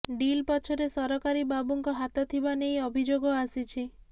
deal ପଛରେ ସରକାରୀ ବାବୁଙ୍କ ହାତ ଥିବା ନେଇ ଅଭିଯୋଗ ଆସିଛି